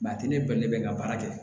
a tɛ ne bali ne bɛ n ka baara kɛ